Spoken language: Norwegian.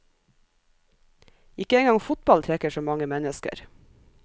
Ikke en gang fotball trekker så mange mennesker.